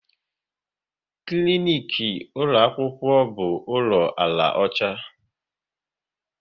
Klinik ụlọ akwụkwọ bụ ụlọ ala ọcha